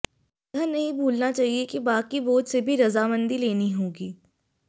यह नहीं भूलना चाहिये कि बाकी बोर्ड से भी रजामंदी लेनी होगी